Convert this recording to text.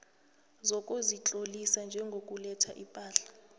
sokuzitlolisa njengoletha ipahla